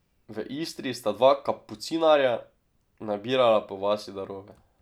V Istri sta dva kapucinarja nabirala po vasi darove.